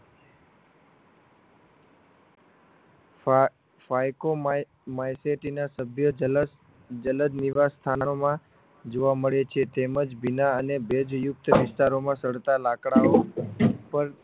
ફા phycomycetin સભ્ય જલસ જલદ નિવાસસ્થાનોમાં જોવા મળે છે તેમજ ભીના અને ભેજયુક્ત વિસ્તારોમાં સડતા લાકડાઓ ઉપર